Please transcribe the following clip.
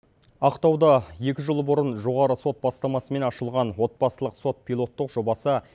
ақтауда екі жыл бұрын жоғары сот бастамасымен ашылған отбасылық сот пилоттық жобасы